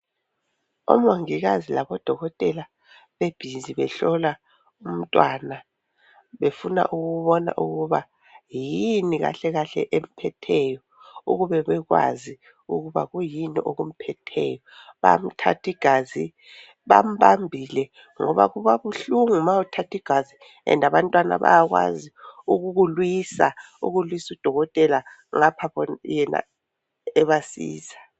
Omongikazi labodokotela bebhizi behlola umntwana, befuna ukubona ukuba yini kahle kahle emphetheyo, ukube bekwazi ukuba kwiyini okumphetheyo, bayamthathi gazi, bambambile ngoba kubabuhlungu ma uthathi gazi "and" abantwana bayakwazi ukukulwisa, ukulwis 'udokotela ngapha yena ebasiza.